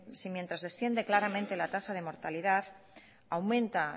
si mientras desciende claramente la tasa de mortalidad aumenta